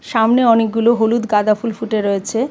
সামনে অনেকগুলো হলুদ গাঁদা ফুল ফুটে রয়েছে.